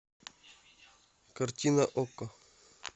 картина окко